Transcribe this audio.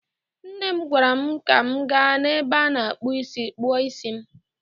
Nne m gwaara m ka m gaa n'ebe a na-akpụ ísí kpụọ ísí m.